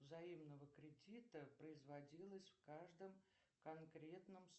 взаимного кредита производилось в каждом конкретном